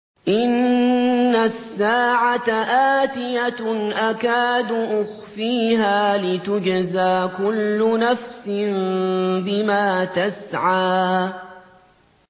إِنَّ السَّاعَةَ آتِيَةٌ أَكَادُ أُخْفِيهَا لِتُجْزَىٰ كُلُّ نَفْسٍ بِمَا تَسْعَىٰ